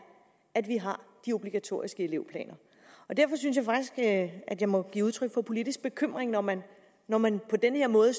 at vi har de obligatoriske elevplaner derfor synes jeg at at jeg må give udtryk for politisk bekymring når man når man på den her måde